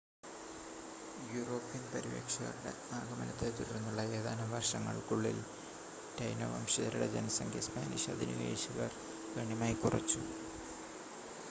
European പര്യവേക്ഷകരുടെ ആഗമനത്തെ തുടർന്നുള്ള ഏതാനും വർഷങ്ങൾക്കുള്ളിൽ, ടൈനോ വംശജരുടെ ജനസംഖ്യ സ്പാനിഷ് അധിനിവേശകർ ഗണ്യമായി കുറച്ചു